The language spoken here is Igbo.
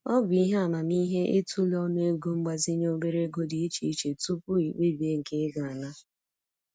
Ọ bụ ihe amamihe i tụlee ọnụego mgbazinye obere ego dị iche iche tupu i kpebie nke ị ga ana.